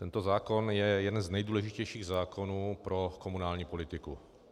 Tento zákon je jeden z nejdůležitějších zákonů pro komunální politiku.